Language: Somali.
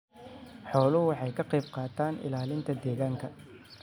Xooluhu waxay ka qayb qaataan ilaalinta deegaanka.